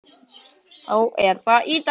Þá er það Ítalía.